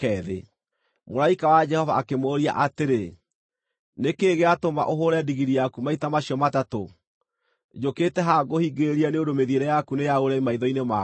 Mũraika wa Jehova akĩmũũria atĩrĩ, “Nĩ kĩĩ gĩatũma ũhũũre ndigiri yaku maita macio matatũ? Njũkĩte haha ngũhingĩrĩrie nĩ ũndũ mĩthiĩre yaku nĩ ya ũremi maitho-inĩ makwa.